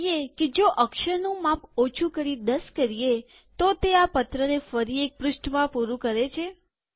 જોઈ કે જો અક્ષરનું માપ ઓછુ કરી ૧૦ કરીએતો તે આ પત્રને ફરી એક પૃષ્ઠમાં પૂરું કરે છે